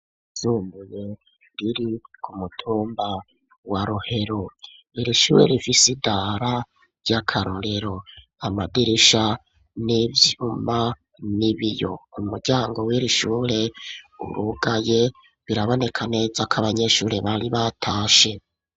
Ishure riri ku mutumba wa rohero ,irishure rifisidara ry'akarorero ,amadirisha n'ivyuma n'ibiyo ,umuryango w'irishure urugaye ,biraboneka neza ko abanyeshuri bari batashe.